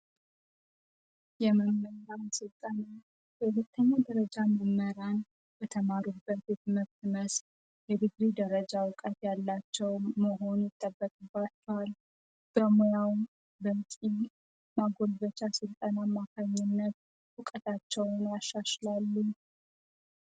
የመምህራን ሥልጣና ሁለተኛ ደረጃ መምህራን በተማሩበት የትመብት መስ የድግሪ ደረጃ ዕውቀት ያላቸው መሆን ይጠበቅባትል። በሙያው በቂ እና ማጎልበቻ ሥልጠና አማካኝነት እውቀታቸውን ያሻሽላሉ።